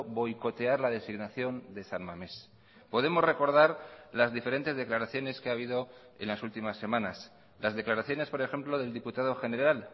boicotear la designación de san mamés podemos recordar las diferentes declaraciones que ha habido en las últimas semanas las declaraciones por ejemplo del diputado general